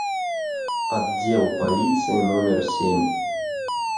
отдел полиции номер семь